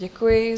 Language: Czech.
Děkuji.